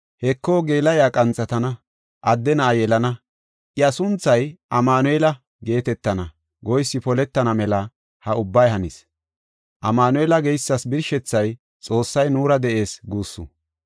“Heko geela7iya qanthatana; adde na7a yelana; iya sunthay Amanu7eela” geetetana goysi poletana mela ha ubbay hanis. Amanu7eela geysas birshethay “Xoossay nuura de7ees” guussu.